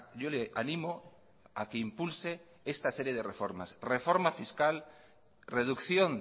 yo le animo a que impulse esta serie de reformas reforma fiscal reducción